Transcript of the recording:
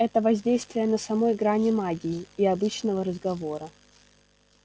это воздействие на самой грани магии и обычного разговора